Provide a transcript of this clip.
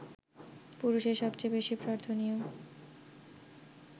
পুরুষের সবচেয়ে বেশি প্রার্থনীয়